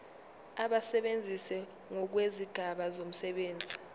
abasebenzi ngokwezigaba zomsebenzi